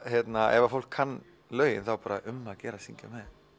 ef fólk kann lögin er um að gera að syngja